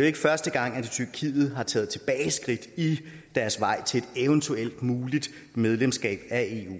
ikke første gang tyrkiet har taget tilbageskridt i deres vej til et muligt medlemskab af eu